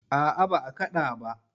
A'a ba a kaɗa ba.